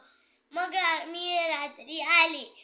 एकाग्रता